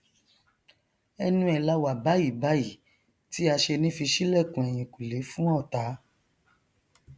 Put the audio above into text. ẹnu ẹ lá wà báyìíbáyìí tí aṣeni fi ṣílẹkùn ẹyìnkùlé fún ọtá